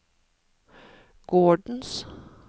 gårdens